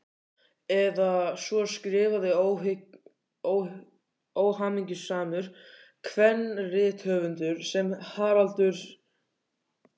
Eða svo skrifaði óhamingjusamur kvenrithöfundur sem Haraldur